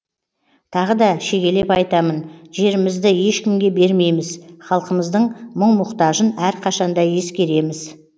тағы да шегелеп айтамын жерімізді ешкімге бермейміз халықымыздың мұң мұқтажын әрқашан да ескереміз